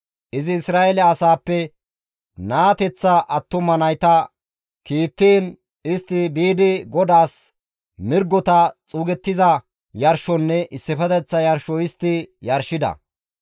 Izi Isra7eele asaappe naateththa attuma nayta kiittiin, istti biidi GODAAS mirgota xuugettiza yarshonne issifeteththa yarsho histti yarshida.